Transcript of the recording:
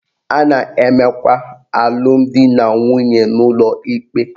A na-emekwa alụmdinanwunye n'ụlọ ikpe